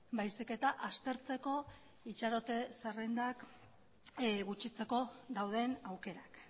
baizik eta aztertzeko itxarote zerrendak gutxitzeko dauden aukerak